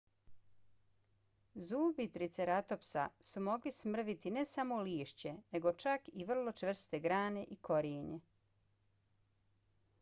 zubi triceratopsa su mogli smrviti ne samo lišće nego čak i vrlo čvrste grane i korijenje